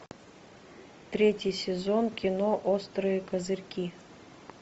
третий сезон кино острые козырьки